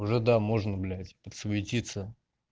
уже да можно блять подсуетиться